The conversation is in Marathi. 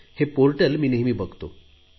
हे पोर्टल मी नेहमी बघतो